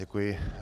Děkuji.